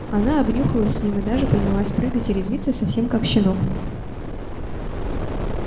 она обнюхалась с ним и даже принялась прыгать и резвиться совсем как щенок